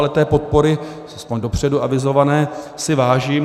Ale té podpory, aspoň dopředu avizované, si vážím.